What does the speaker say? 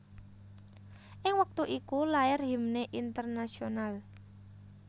Ing wektu iku lair Himne Internasionale